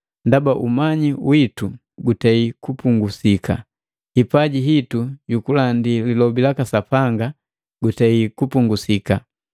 Ndaba umanyi witu gutei kupungusika, hipaji hitu yukulandi lilobi laka Sapanga gutei kupungasika.